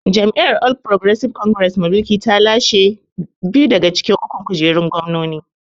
Jam’iyyar All Progresive Congress mai mulki ta lashe biyu daga cikin ukun kujerun gwamnonin.